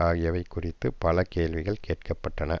ஆகியவை குறித்து பல கேள்விகள் கேட்கப்பட்டன